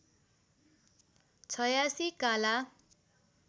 छयासी काला